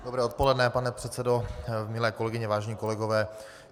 Dobré odpoledne, pane předsedo, milé kolegyně, vážení kolegové.